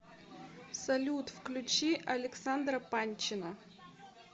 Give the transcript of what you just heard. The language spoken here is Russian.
салют включи александра панчина